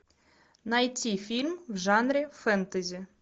найти фильм в жанре фэнтези